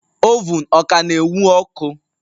Ovun Ọ ka na ewun ọkụ?